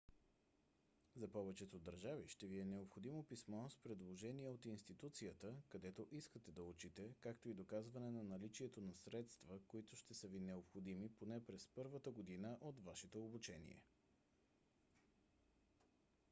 за повечето държави ще ви е необходимо писмо с предложение от институцията където искате да учите както и доказване на наличието на средства които ще са ви необходими поне през първата година от вашето обучение